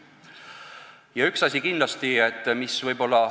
Ja üks asi kindlasti veel.